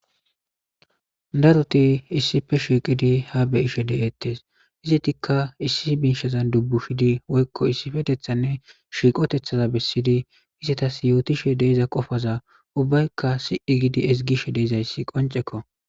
daruti issife shiiqidi ha beyishe deettes izitikka issi miishazan dubbu shidi woykko issifetethanne shiiqotethaza bessiydi isetas yootishe deiza qofaza ubbaykka si7i gidi esgishe deizayssi qoncekko